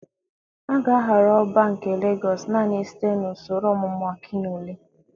A ga-ahọrọ Ọbá nke Legọs naanị site na usoro ọmụmụ Akinole.